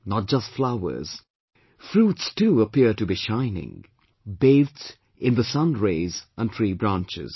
Not just flowers, fruits too appear to be shining bathed in the sun rays on tree branches